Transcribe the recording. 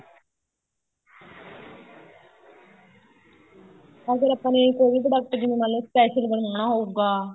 ਅਗਰ ਆਪਾਂ ਨੇ ਕੋਈ ਵੀ product ਜਿਵੇਂ ਮੰਨਲੋ special ਬਨਾਣਾ ਹੋਊਗਾ